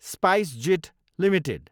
SpiceJet Ltd